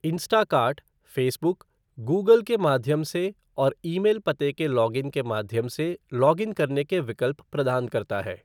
Instacart Facebook, Google के माध्यम से और ईमेल पते के लॉगिन के माध्यम से लॉगिन करने के विकल्प प्रदान करता है।